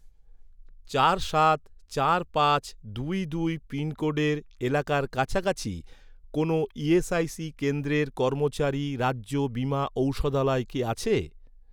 চার সাত চার পাঁচ দুই দুই পিনকোডের এলাকার কাছাকাছি, কোনও ইএসআইসি কেন্দ্রের কর্মচারী রাজ্য বীমা ঔষধালয় কি আছে?